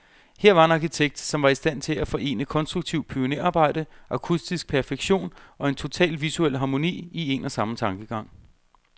Her var en arkitekt, som var i stand til at forene konstruktivt pionerarbejde, akustisk perfektion, og en total visuel harmoni, i en og samme tankegang.